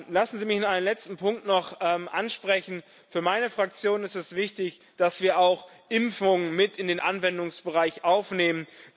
Lassen Sie mich einen letzten Punkt noch ansprechen Für meine Fraktion ist es wichtig, dass wir auch Impfungen mit in den Anwendungsbereich aufnehmen.